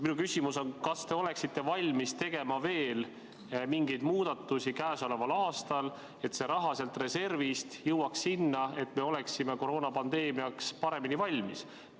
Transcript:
Minu küsimus on: kas te oleksite valmis tegema veel mingeid muudatusi käesoleval aastal, et see raha sealt reservist jõuaks kasutusse nii, et me oleksime koroonapandeemiaks paremini valmis?